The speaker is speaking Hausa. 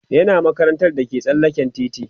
yana makarantar da ke tsallaken titi